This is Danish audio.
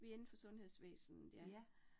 Vi indenfor sundhedsvæsnet ja